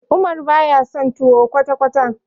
Umar baya son tuwo kwata-kwata.